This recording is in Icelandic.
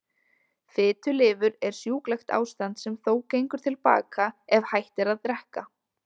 Fitulifur er sjúklegt ástand sem þó gengur til baka ef hætt er að drekka.